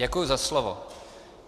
Děkuji za slovo.